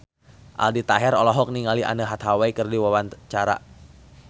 Aldi Taher olohok ningali Anne Hathaway keur diwawancara